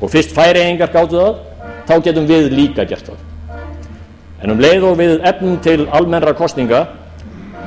og fyrst færeyingar gátu það þá getum við líka gert það en um leið og við efnum til almennra kosninga